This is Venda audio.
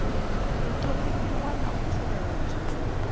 u ṱhonifhiwa na u tsireledzwa